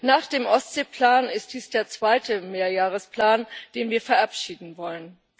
Nach dem Ostseeplan ist dies der zweite Mehrjahresplan, den wir verabschieden wollen.